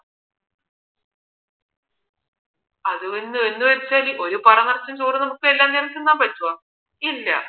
അത് അതെന്ന് വച്ചാൽ ഒരു പറ ചോർ നമുക്ക് എല്ലാ നേരവും തിന്നാൻ പറ്റുമോ ഇല്ല